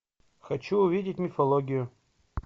хочу увидеть мифологию